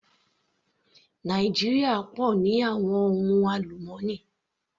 Nàìjíríà pọ̀ ní àwọn ohun àlùmọ́nì.